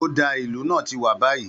Ó dáa, ìlù náà ti wà báyìí